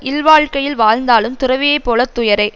இல்வாழ்க்கையில் வாழ்ந்தாலும் துறவியைப் போல துயரே